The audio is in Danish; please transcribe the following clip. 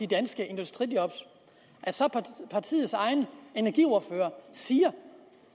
danske industrijob når partiets egen energiordfører siger